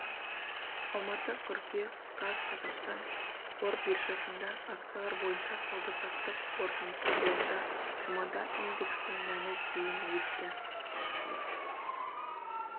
алматы қыркүйек қаз қазақстан қор биржасында акциялар бойынша сауда-саттық қорытындысы бойынша жұмада индексінің мәні дейін өсті